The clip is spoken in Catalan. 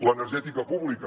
l’energètica pública